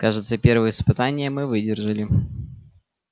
кажется первое испытание мы выдержали